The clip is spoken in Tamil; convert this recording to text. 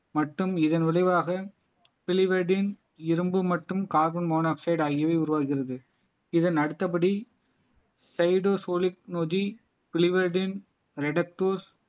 மற்றும் இதன் விளைவாக இரும்பு மற்றும் கார்பன் மோனோக்சைட் ஆகியவை உருவாகிறது இதன் அடுத்தபடி